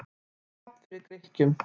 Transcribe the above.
Tap fyrir Grikkjum